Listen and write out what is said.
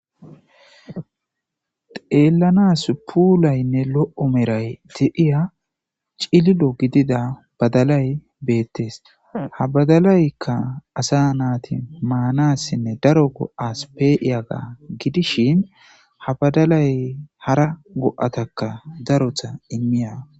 Xelanas pulsne lo'o Meray de'iya cililo badalay betes. Ha badslayka asa nat manasinne daro go'as pe'iyaga gidishn ha ha badalay hara go'ataka datota imiya...